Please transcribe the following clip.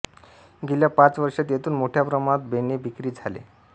गेल्या पाच वर्षांत येथून मोठ्या प्रमाणात बेणे विक्री झाले